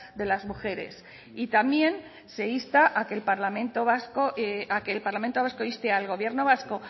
de las mujeres y también se insta a que el parlamento vasco a que el parlamento vasco inste al gobierno vasco